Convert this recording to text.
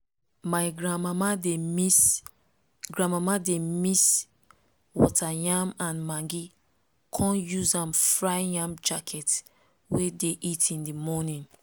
my granmama dey mix granmama dey mix water yam and maggi con use am fry yam jacket wey dey eat in the morning